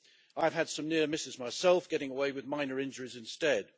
I've had some near misses myself, getting away with minor injuries instead.